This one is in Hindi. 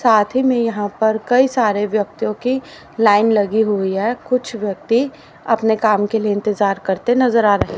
साथ ही में यहां पर कई सारे व्यक्तियों की लाइन लगी हुई है कुछ व्यक्ती अपने काम के लिए इंतजार करते नजर आ रहे--